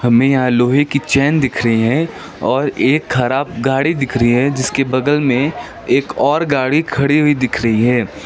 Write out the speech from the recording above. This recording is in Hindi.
यहाँ लोहे की चेन दिख रही है और एक ख़राब गाड़ी दिख रही है जिसके बगल में एक और गाड़ी खड़ी हुई दिख रही है।